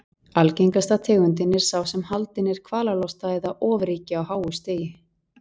Algengasta tegundin er sá sem haldinn er kvalalosta eða ofríki á háu stigi.